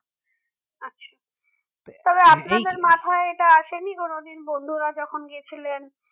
আচ্ছা তবে আপনাদের মাথায় এটা আসেনি কোনদিন বন্ধুরা যখন গিয়েছিলেন